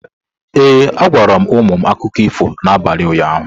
Ee, agwara m ụmụ m akụkọ ifo n’abalị ụnyaahụ.